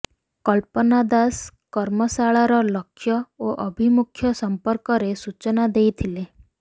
କଳ୍ପନା ଦାସ କର୍ମଶାଳାର ଲକ୍ଷ୍ୟ ଓ ଆଭିମୁଖ୍ୟ ସମ୍ପର୍କରେ ସୂଚନା ଦେଇଥିଲେ